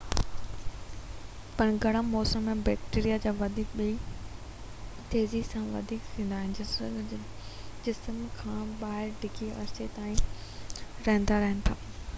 پڻ گرم موسم ۾ بيڪٽيريا ٻئي وڌيڪ تيزي سان وڌي ويندا آهن ۽ جسم کان ٻاهر ڊگهي عرصي تائين زنده رهن ٿا